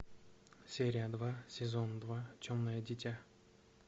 серия два сезон два темное дитя